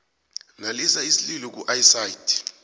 nalisa isililo kuicd